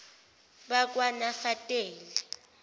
bakwanafateli